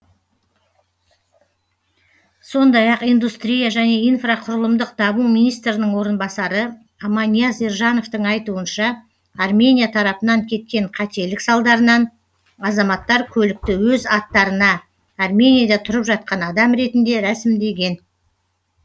сондай ақ индустрия және инфрақұрылымдық даму министрінің орынбасары аманияз ержановтың айтуынша армения тарапынан кеткен қателік салдарынан азаматтар көлікті өз аттарына арменияда тұрып жатқан адам ретінде рәсімдеген